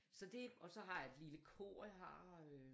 Så det og så har jeg et lille kor jeg har øh